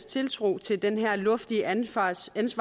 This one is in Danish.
tiltro til den her luftige ansvarsfølelse